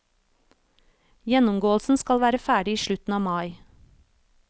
Gjennomgåelsen skal være ferdig i slutten av mai.